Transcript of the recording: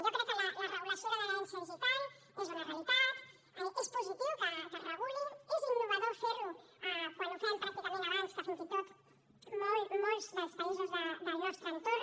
jo crec que la regulació de l’herència digital és una realitat és positiu que es reguli és innovador fer ho quan ho fem pràcticament abans que fins i tot molts molts dels països del nostre entorn